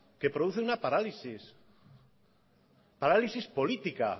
que produce una parálisis parálisis política